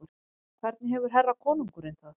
Hvernig hefur herra konungurinn það?